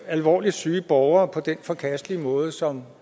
alvorligt syge borgere på den forkastelige måde som